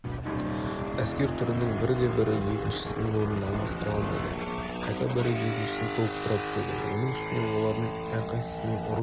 әскер түрінің бірде-бірі екіншісінің орнын алмастыра алмайды қайта бірі екіншісін толықтыра түседі оның үстіне олардың әрқайсысының ұрыс